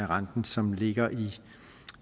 renten som ligger i